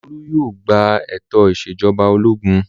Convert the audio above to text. Olú yóò gba ètò ìṣèjọba ológun!